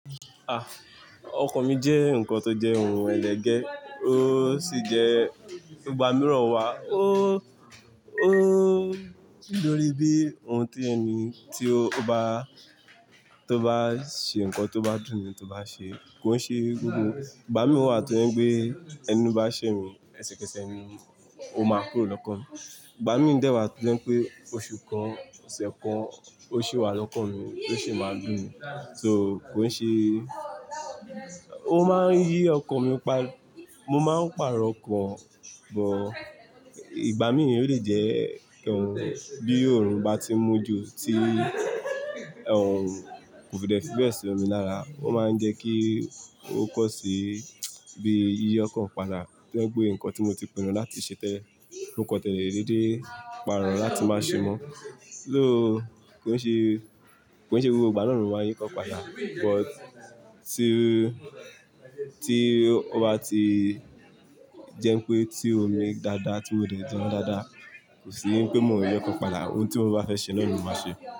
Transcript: Ah! Ọkọ̀ mi jẹ́ nǹkan tó jẹ́ ohun ẹlẹgẹ́, ó sì jẹ́ igbà mìíràn wa. Ó, ó dórí bí ohun tí ẹni tí ó bá, tó bá ṣe nǹkan tó bá dùn mi tó bá ṣe kó ṣe gbogbo. Ìgbà míran wà tó je pé ẹni bá ṣẹ́ mi, ẹsẹ̀kẹsẹ̀ ni ó máa kúrò lọ́kàn mi. Ìgbà mí dẹ́ wà tó je pé oṣù kan, ọ̀sẹ̀ kan, ó ṣì wà lọ́kàn mi oó sì máa dùn mi. So kó ṣe, ó máa ń yí ọkọ mi pa. Mo máa ń pàrọ̀ ọkọ̀, but ìgbà mí ó lè jẹ́ pé ohun bí òórùn bá ti mu jú tí ohun kò fi dè fi bẹ́ẹ̀ ṣi ọmọ ní ara, ó máa ń jẹ kí ó cause bí yiyi ọkan padà to je pé nǹkan tí mo ti pinnu láti ṣe tẹ́lẹ̀, mó kó tẹ́lẹ̀ déédé paro láti máa ṣe mọ́. So, kó ṣe, kó ṣe gbogbo ìgbà náà ni wá yín ọkọ̀ padà, but tí, tí ó bá ti jẹ́ pé tí omi dáadáa tí ó dẹ̀ jẹun dáadáa, kò sì ní pé mò ń yi ọkọ̀ padà. Ohun tí mo bá fẹ́ ṣe náà ló máa ṣe.